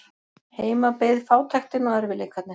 Heima beið fátæktin og erfiðleikarnir.